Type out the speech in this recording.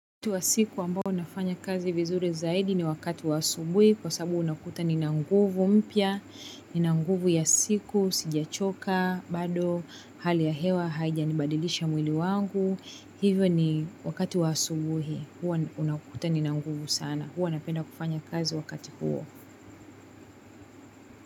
Wakati wa siku ambao nafanya kazi vizuri zaidi ni wakati wa asubuhi kwasabu unakuta nina nguvu mpya, nina nguvu ya siku sijachoka bado hali ya hewa haija nibadilisha mwili wangu hivyo ni wakati wa subuhi huwa unakuta nina nguvu sana huwa napenda kufanya kazi wakati huo.